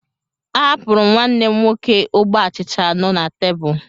A hapuru m nwanne m nwoke ogbe achịcha anọ na tebụl